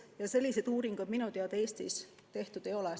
Ja selliseid uuringuid minu teada Eestis tehtud ei ole.